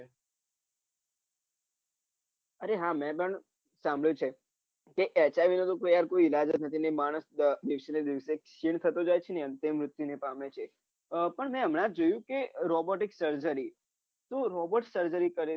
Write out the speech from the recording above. અરે હા મેં પણ સાભળ્યું છે કે HIV નો અને માણસ દિવસે ને દિવસે ચીડ થતો જાય છે એમ તેમ વૃતિ પામે છે આહ પણ મેં હમણા જ જોયું કે ROBOT સર્જરી તો ROBOT સર્જરી કરે છે